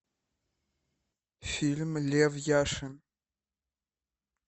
фильм лев яшин